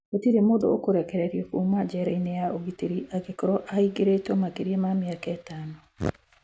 Gũtirĩ mũndũ ũkũrekererio kuuma njera-inĩ ya ũgitĩri angĩkorũo ahingĩrĩtwo makĩria ma mĩaka ĩtano.